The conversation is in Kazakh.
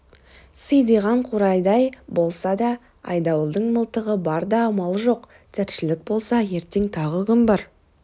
сидиған қурайдай болса да айдауылдың мылтығы бар да амал жоқ тіршілік болса ертең тағы күн бар